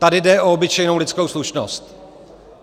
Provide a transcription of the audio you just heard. Tady jde o obyčejnou lidskou slušnost.